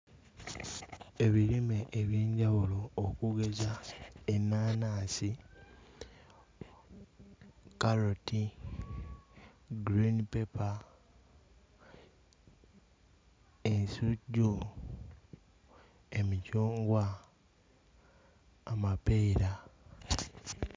Ebirime eby'enjawulo okugeza ennaanansi, kkaloti, green paper, ensujju, emicungwa, amapeera.